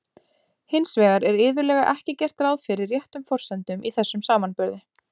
Hins vegar er iðulega ekki gert ráð fyrir réttum forsendum í þessum samanburði.